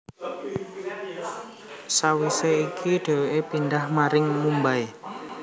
Sawisé iku dheweké pindah maring Mumbai